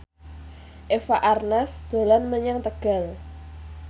Eva Arnaz dolan menyang Tegal